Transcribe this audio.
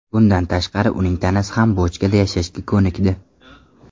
Bundan tashqari uning tanasi ham bochkada yashashga ko‘nikdi.